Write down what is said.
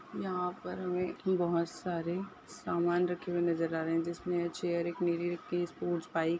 यहाँ पर मे भी बहुत सारे समान रखे हुए नजर आ रहे है जिसमे एक चेयर एक निली एक स्पॉट बाईक--